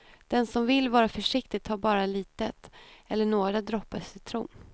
Den som vill vara försiktig tar bara litet eller några droppar citron.